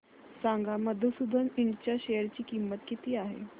सांगा मधुसूदन इंड च्या शेअर ची किंमत काय आहे